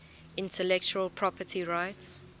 intellectual property rights